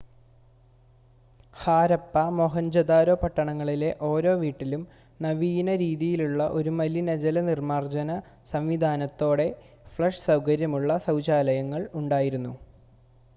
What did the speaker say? ഹാരപ്പ മോഹൻജോദാരോ പട്ടണങ്ങളിലെ ഓരോ വീട്ടിലും നവീന രീതിയിലുള്ള ഒരു മലിനജല നിർമ്മാർജ്ജന സംവിധാനത്തോടെ ഫ്ലഷ് സൗകര്യമുള്ള ശൗചാലയങ്ങൾ ഉണ്ടായിരുന്നു